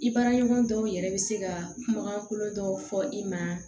I baara ɲɔgɔn dɔw yɛrɛ bɛ se ka kumakan kolon dɔw fɔ i ma